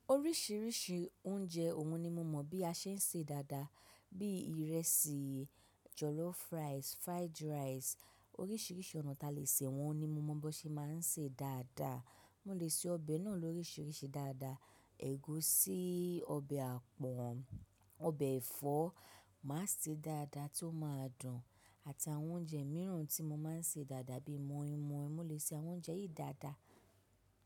Oríṣiríṣi oúnjẹ òun ni mo mọ̀ bí a ṣe ń ṣe dáadáa, bí ìrẹsì, jọ̀lọ́fùràísì, fried rice, oríṣiríṣi ọ̀nà tí a lè sè wọ́n ni mo mọ̀ bó ṣe máa ń ṣe dáadáa. Mo lè ṣe ọbẹ̀ náà lóríṣiríṣi dáadáa. Ẹ̀gúsí, ọbẹ̀ àpọ̀n, ọbẹ̀ ẹ̀fọ́ màá sè é dáadáa tí ó máa dùn, àtàwọn oúnjẹ mìíràn tí mo máa ń sè dáadáa bí i mọ̀í-mọ̀í mo lè ṣe àwọn oúnjẹ yìí dáadáa.